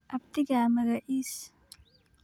Abtigaa magacis?